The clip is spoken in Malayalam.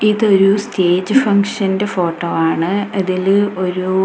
ഇത് ഒരു സ്റ്റേജ് ഫംഗ്ഷൻ ഫോട്ടോ ആണ് അതില് ഒരു --